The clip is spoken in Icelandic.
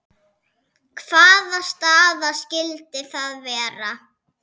Hvaða staða skyldi það vera?